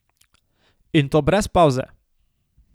In to brez pavze!